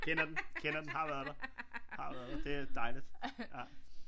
Kender den kender den har været der har været der det er dejligt ja